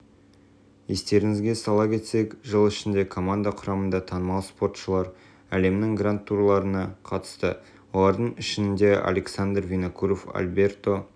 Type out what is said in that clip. естеріңізге сала кетсек жыл ішінде команда құрамында танымал споршылар әлемнің гранд-турларына қатысты олардың ішіндеалександр винокуров альберто